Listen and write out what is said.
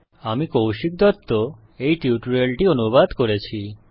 আমি কৌশিক দত্ত এই টিউটোরিয়াল টি অনুবাদ করেছি